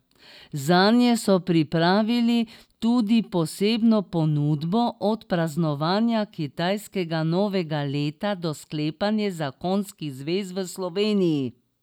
Zanje so pripravili tudi posebno ponudbo, od praznovanja kitajskega novega leta do sklepanja zakonskih zvez v Sloveniji.